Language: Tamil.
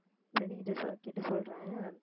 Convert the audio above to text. friend கிட்ட சொ~ கேட்டு சொல்றேன்